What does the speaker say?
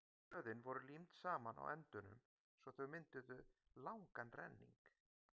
blöðin voru límd saman á endunum svo að þau mynduðu langan renning